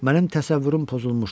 Mənim təsəvvürüm pozulmuşdur.